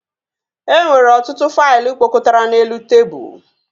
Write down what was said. E nwere ọtụtụ faịlụ kpọkọtara n'elu tebụl